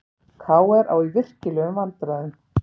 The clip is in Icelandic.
KR á í virkilegum vandræðum